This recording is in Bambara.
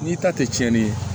N'i ta tɛ cɛnni ye